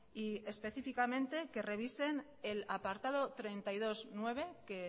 y específicamente que revisen el apartado treinta y dos punto nueve que